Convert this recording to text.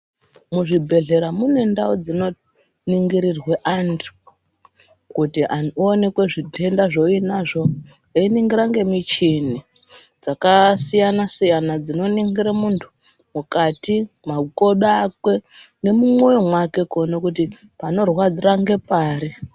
Muzvibhedhlera mune ndau dzinenge dzeiningirirwe antu kuti aonekwe zvitenda zvaainazvo, einingira ngemishini yakasiyana siyana inoningira munhu mukati mwemakodoko ake nemumwoyo mwake kuningire kuti panorwadza ngepari.